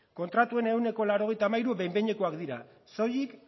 kontratuen ehuneko laurogeita hamairu behin behinekoak dira soilik